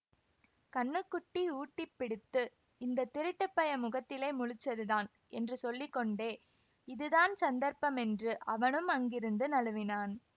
கன்னுக்குட்டி ஊட்டிப்பிடுத்து இந்த திருட்டு பய முகத்திலே முழிச்சதுதான் என்று சொல்லி கொண்டே இது தான் சந்தர்ப்பமென்று அவனும் அங்கிருந்து நழுவினான்